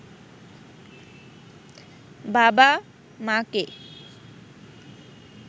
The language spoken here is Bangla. বাবা-মাকে